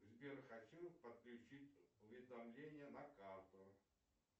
сбер хочу подключить уведомления на карту